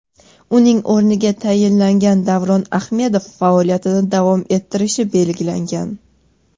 Uning o‘rniga tayinlangan Davron Ahmedov faoliyatini davom ettirishi belgilangan.